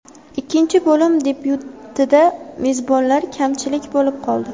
Ikkinchi bo‘lim debyutida mezbonlar kamchilik bo‘lib qoldi.